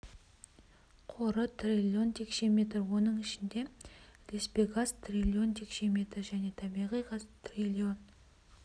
қоры триллион текше метр оның ішінде ілеспе газ триллион текше метр және табиғи газ триллион